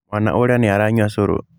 Mwaana ũrĩa nĩ aranyua cũrũ.